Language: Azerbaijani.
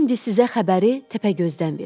İndi sizə xəbəri Təpəgözdən verim.